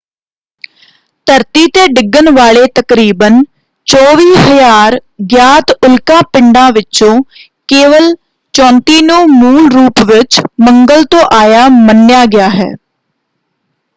ਧਰਤੀ ‘ਤੇ ਡਿੱਗਣ ਵਾਲੇ ਤਕਰੀਬਨ 24,000 ਗਿਆਤ ਉਲਕਾ ਪਿੰਡਾਂ ਵਿੱਚੋਂ ਕੇਵਲ 34 ਨੂੰ ਮੂਲ ਰੂਪ ਵਿੱਚ ਮੰਗਲ ਤੋਂ ਆਇਆ ਮੰਨਿਆ ਗਿਆ ਹੈ।